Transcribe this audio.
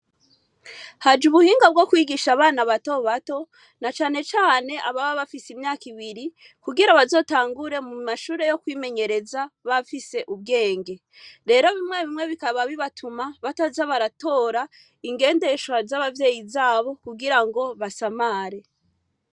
Haje ubuhinga bwo kwigisha abana bato bato, na cane cane ababa bafise imyaka ibiri, kugira bazotangure mu mashure yo kw'imenyereza, bafise ubwenge. Rero rimwe rimwe bikaba bibatuma, bataza baratora ingendeshwa z'abavyeyi zabo kugira ngo basamare.